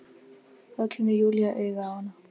Þá kemur Júlía auga á hana.